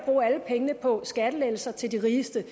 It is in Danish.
bruge alle pengene på skattelettelser til de rigeste